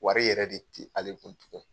Wari yɛrɛ de ti ale kun tugun.